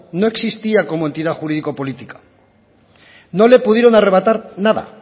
no existía como entidad jurídica o política no le pudieron arrebatar nada